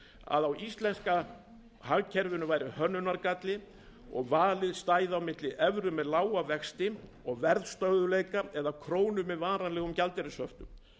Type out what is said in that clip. að á íslenska hagkerfinu væri hönnunargalli og valið stæði á milli evru með lága vexti og verðstöðugleika og krónu með varanlegum gjaldeyrishöftum